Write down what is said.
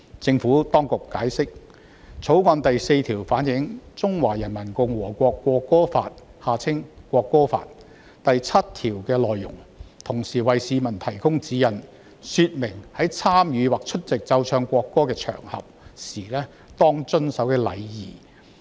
政府當局解釋，《條例草案》第4條反映《中華人民共和國國歌法》第七條的內容，同時為市民提供指引，說明在參與或出席奏唱國歌的場合時當遵守的禮儀。